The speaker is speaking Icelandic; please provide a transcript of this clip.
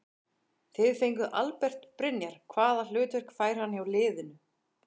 Þið fenguð Albert Brynjar hvaða hlutverk fær hann hjá liðinu?